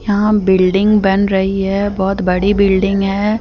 यहां बिल्डिंग बन रही है बहुत बड़ी बिल्डिंग है।